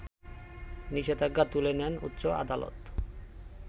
নিষেধাজ্ঞা তুলে নেন উচ্চ আদালত